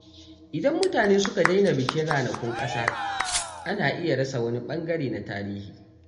Idan mutane suka daina bikin ranakun ƙasa, ana iya rasa wani ɓangare na tarihi.